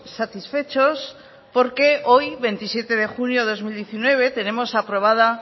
satisfechos porque hoy veintisiete de junio de dos mil diecinueve tenemos aprobada